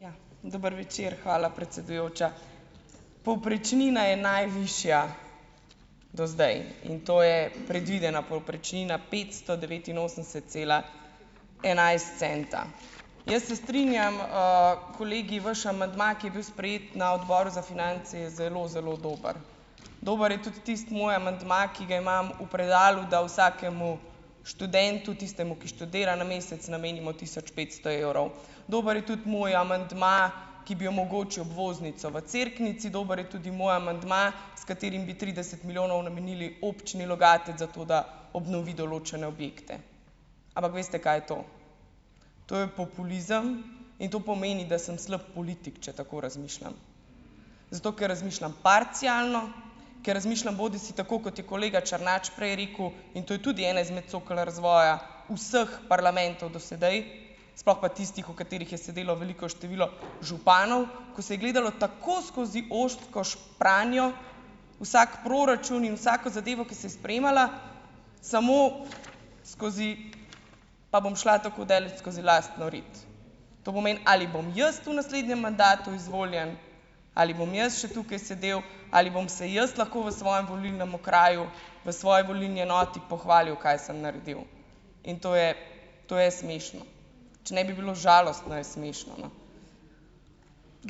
Ja. Dober večer, hvala, predsedujoča. Povprečnina je najvišja do zdaj in to je predvidena povprečnina petsto devetinosemdeset cela enajst centa. Jaz se strinjam, kolegi - vaš amandma, ki je bil sprejet na odboru za finance, je zelo, zelo dober. Dober je tudi tisti moj amandma, ki ga imam v predalu, da vsakemu študentu, tistemu, ki študira, na mesec namenimo tisoč petsto evrov. Dober je tudi moj amandma, ki bi omogočil obvoznico v Cerknici, dober je tudi moj amandma, s katerim bi trideset milijonov namenili občini Logatec za to, da obnovi določene objekte. Ampak, veste, kaj je to? To je populizem in to pomeni, da sem slep politik, če tako razmišljam. Zato, ker razmišljam parcialno, ker razmišljam bodisi tako, kot je kolega Černač prej rekel, in to je tudi ena izmed cokel razvoja vseh parlamentov do sedaj, sploh pa tistih, v katerih je sedelo veliko število županov, ko se je gledalo tako skozi ozko špranjo vsak proračun in vsako zadevo, ki se je sprejemala, samo skozi, pa bom šla tako daleč, skozi lastno rit. To pomeni: ali bom jaz v naslednjem mandatu izvoljen, ali bom jaz še tukaj sedel, ali bom se jaz lahko v svojem volilnem okraju, v svoji volilni enoti pohvalil, kaj sem naredil. In to je to je smešno, če ne bi bilo žalostno, je smešno, no.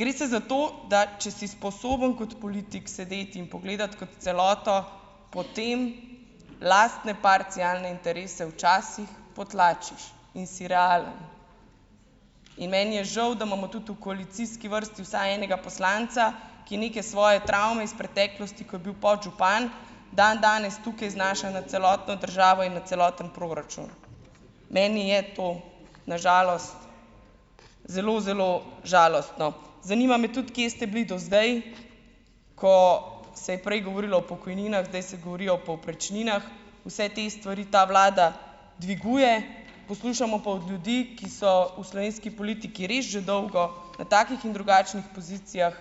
Gre se za to, da če si sposoben kot politik sedeti in pogledati kot celoto, potem lastne parcialne interese včasih potlačiš in si realen. In meni je žal, da imamo tudi v koalicijski vrsti vsaj enega poslanca, ki neke svoje travme iz preteklosti, ko je bil podžupan, dandanes tukaj znaša nad celotno državo in nad celoten proračun, meni je to na žalost zelo, zelo žalostno. Zanima me tudi, kje ste bili do zdaj, ko se je prej govorilo o pokojninah, zdaj se govori o povprečninah. Vse te stvari ta vlada dviguje. Poslušamo pa od ljudi, ki so v slovenski politiki res že dolgo, na takih in drugačnih pozicijah,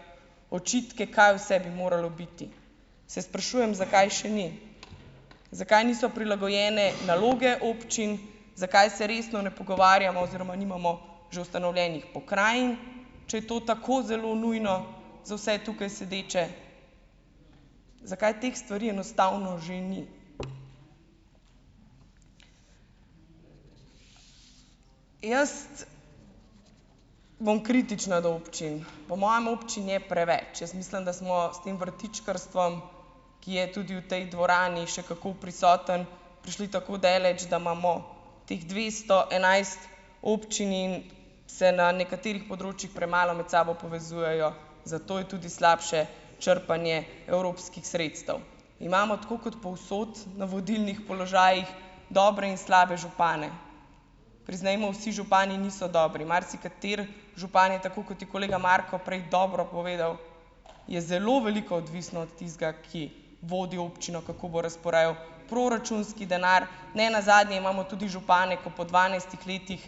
očitke, kaj vse bi moralo biti. Se sprašujem, zakaj še ni, zakaj niso prilagojene naloge občin, zakaj se resno ne pogovarjamo oziroma nimamo že ustanovljenih pokrajin, če je to tako zelo nujno za vse tukaj sedeče, zakaj teh stvari enostavno že ni. Jaz bom kritična do občin. Po mojem občin je preveč. Jaz mislim, da smo s tem vrtičkarstvom, ki je tudi v tej dvorani še kako prisoten, prišli tako daleč, da imamo teh dvesto enajst občin in se na nekaterih področjih premalo med sabo povezujejo, zato je tudi slabše črpanje evropskih sredstev. Imamo tako kot povsod na vodilnih položajih dobre in slabe župane. Priznajmo, vsi župani niso dobri, marsikateri župan je, tako kot je kolega Marko prej dobro povedal, je zelo veliko odvisno od tistega, ki vodi občino, kako bo razporejal proračunski denar. Ne nazadnje imamo tudi župane, ko po dvanajstih letih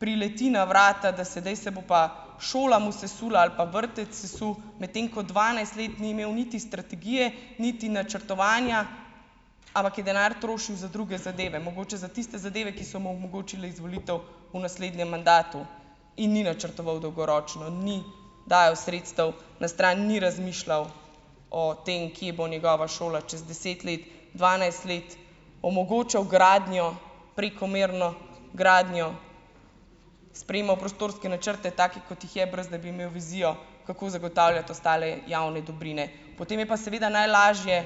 prileti na vrata, da sedaj se bo pa šola mu sesula ali pa vrtec sesul, medtem ko dvanajst let ni imel niti strategije niti načrtovanja, ampak je denar trošil za druge zadeve, mogoče za tiste zadeve, ki so mu omogočile izvolitev v naslednjem mandatu, in ni načrtoval dolgoročno, ni dajal sredstev na stran, ni razmišljal o tem, kje bo njegova šola čez deset let, dvanajst let, omogočal gradnjo, prekomerno gradnjo, sprejemal prostorske načrte take, kot jih je, brez da bi imel vizijo, kako zagotavljati ostale javne dobrine. Potem je pa seveda najlažje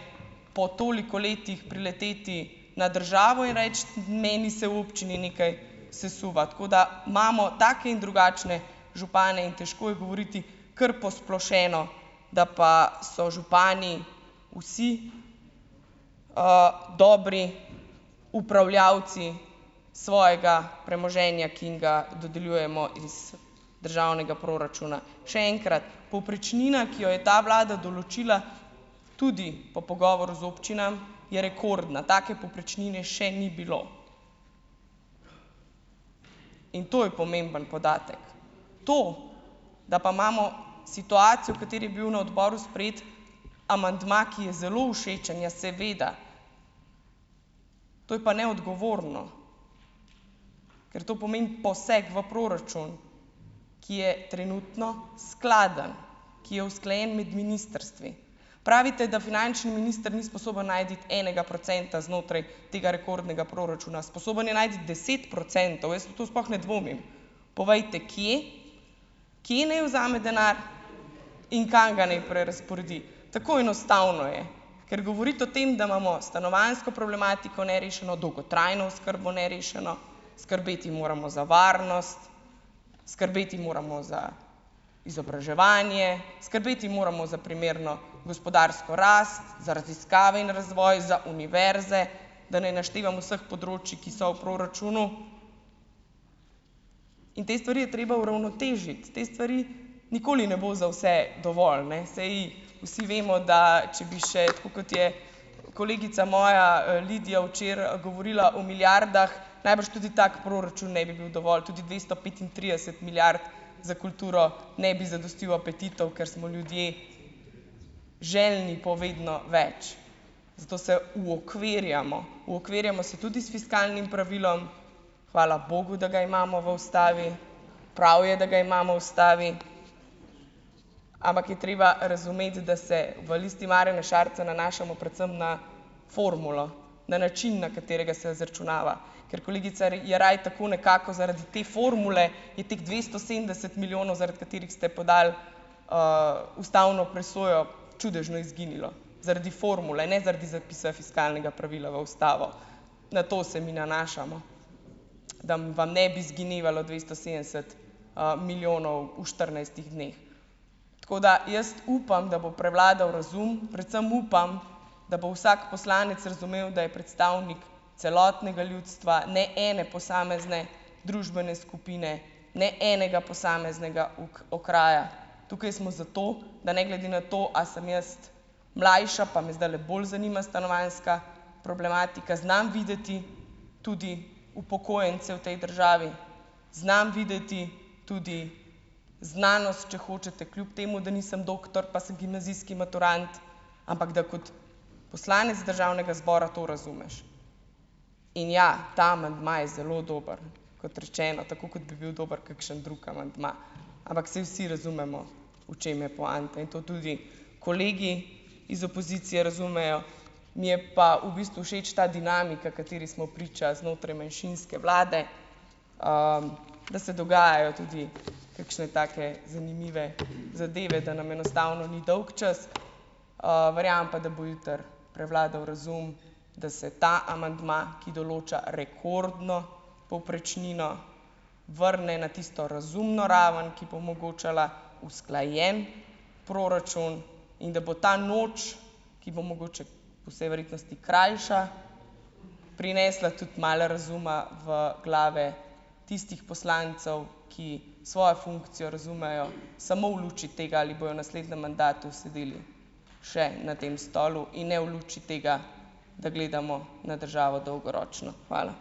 po toliko letih prileteti na državo in reči: "Meni se v občini nekaj sesuva." Tako da imamo take in drugačne župane in težko je govoriti kar posplošeno, da pa so župani vsi, dobri upravljavci svojega premoženja, ki jim ga dodeljujemo iz državnega proračuna. Še enkrat, povprečnina, ki jo je ta vlada določila, tudi po pogovoru z občinami, je rekordna. Take povprečnine še ni bilo in to je pomemben podatek. To, da pa imamo situacijo, v kateri je bil na odboru sprejet amandma, ki je zelo všečen, ja, seveda, to je pa neodgovorno, ker to pomeni poseg v proračun, ki je trenutno skladen, ki je usklajen med ministrstvi. Pravite, da finančni minister ni sposoben najti enega procenta znotraj tega rekordnega proračuna. Sposoben je najti deset procentov, jaz v to sploh ne dvomim. Povejte, kje, kje naj vzame denar in kam ga naj prerazporedi, tako enostavno je. Ker govoriti o tem, da imamo stanovanjsko problematiko nerešeno, dolgotrajno oskrbo nerešeno, skrbeti moramo za varnost, skrbeti moramo za izobraževanje, skrbeti moramo za primerno gospodarsko rast, za raziskave in razvoj, za univerze, da ne naštevam vseh področij, ki so v proračunu, in te stvari je treba uravnotežiti, te stvari nikoli ne bo za vse dovolj, Saj vsi vemo, da če bi še, tako kot je kolegica moja, Lidija včeraj, govorila o milijardah, najbrž tudi tako proračun ne bi bil dovolj, tudi dvesto petintrideset milijard za kulturo ne bi zadostil apetitom, ker smo ljudje željni po vedno več. Zato se uokvirjamo, uokvirjamo se tudi s fiskalnim pravilom, hvala bogu, da ga imamo v ustavi, prav je, da ga imamo ustavi, ampak je treba razumeti, da se v Listi Marjana Šarca nanašamo predvsem na formulo, na način, na katerega se izračunava, ker kolegica Jeraj, tako nekako zaradi te formule je teh dvesto sedemdeset milijonov, zaradi katerih ste podali, ustavno presojo, čudežno izginilo, zaradi formule, ne zaradi zapisa fiskalnega pravila v ustavo. Na to se mi nanašamo, da vam ne bi "zginevalo" dvesto sedemdeset, milijonov v štirinajstih dneh. Tako da, jaz upam, da bo prevladal razum. Predvsem upam, da bo vsak poslanec razumel, da je predstavnik celotnega ljudstva, ne ene posamezne družbene skupine, ne enega posameznega okraja. Tukaj smo zato, da ne glede na to, a sem jaz mlajša, pa me zdajle bolj zanima stanovanjska problematika, znam videti tudi upokojence v tej državi. Znam videti tudi znanost, če hočete, kljub temu, da nisem doktor, pa sem gimnazijski maturant, ampak da kot poslanec državnega zbora to razumeš, in ja, ta amandma je zelo dober, kot rečeno, tako kot bi bil dober kakšen drug amandma, ampak saj vsi razumemo, v čem je poanta, in to tudi kolegi iz opozicije razumejo, mi je pa v bistvu všeč ta dinamika, kateri smo priča znotraj manjšinske vlade, da se dogajajo tudi kakšne take zanimive zadeve, da nam enostavno ni dolgčas. verjamem pa, da bo jutri prevladal razum, da se ta amandma, ki določa rekordno povprečnino, vrne na tisto razumno raven, ki bo omogočala usklajen proračun, in da bo ta noč, ki bo mogoče, po vsej verjetnosti krajša, prinesla tudi malo razuma v glave tistih poslancev, ki svojo funkcijo razumejo samo v luči tega, ali bojo naslednjem mandatu sedeli še na tem stolu in ne v luči tega, da gledamo na državo dolgoročno. Hvala.